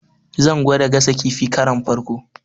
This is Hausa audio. Zan gwada gasa kifi akaron farko.